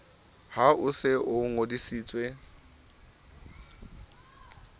ha o se o ngodisitswe